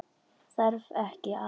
Þarftu ekki að.?